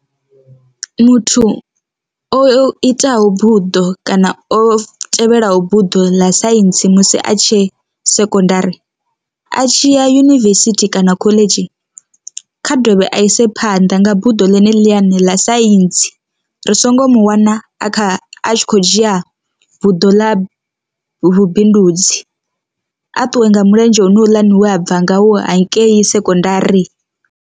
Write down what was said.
Muthu o itaho buḓo kana o tevhelaho buḓo ḽa saintsi musi a tshe sekondari a tshiya yunivesithi kana khoḽedzhi, kha dovhe a ise phanḓa nga buḓo ḽine ḽine ḽa saintsi, ri songo mu wana a kha a tshi khou dzhia buḓo ḽa vhubindudzi a ṱuwe nga mulenzhe hone houḽani we a bva ngau hankei sekondari.